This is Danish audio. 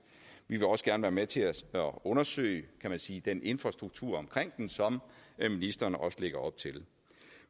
vi vil også gerne være med til at undersøge kan man sige den infrastruktur omkring den som ministeren også lægger op til